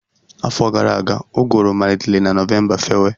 Afọ gara aga, ụgụrụ malitere na Novemba fewe